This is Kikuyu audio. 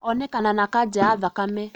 Onekana na kanja ya thakame